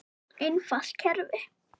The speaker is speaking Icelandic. Einfalt kerfi.